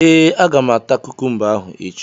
Ee, Aga m ata kukumba ahụ echi